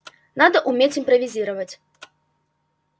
надо уметь импровизировать